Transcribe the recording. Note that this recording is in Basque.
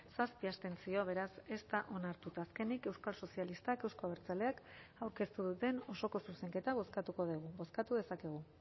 zazpi abstentzio beraz ez da onartu eta azkenik euskal sozialistak euzko abertzaleak aurkeztu duten osoko zuzenketa bozkatuko dugu bozkatu dezakegu